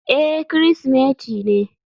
Eh Kirsimeti ne.